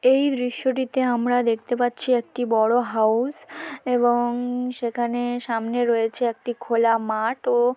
এই দৃশ্যটিতে আমরা দেখতে পাচ্ছি একটি বড় হাউস এবং সেখানে সামনে রয়েছে একটি খোলা মাঠ । ও--